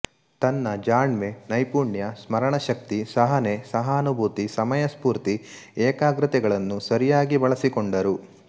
ತನ್ನ ಜಾಣ್ಮೆ ನೈಪುಣ್ಯ ಸ್ಮರಣಶಕ್ತಿ ಸಹನೆ ಸಹಾನುಭೂತಿ ಸಮಯಸ್ಪೂರ್ತಿ ಏಕಾಗ್ರತೆಗಳನ್ನು ಸರಿಯಾಗಿ ಬಳಸಿಕೊಂಡರು